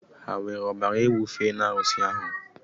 Ha were ọbara ewu fee n'arusi ahụ?